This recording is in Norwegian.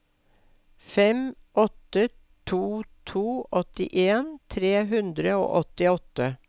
fem åtte to to åttien tre hundre og åttiåtte